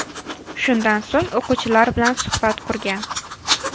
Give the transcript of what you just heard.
Shundan so‘ng o‘quvchilar bilan suhbat qurgan.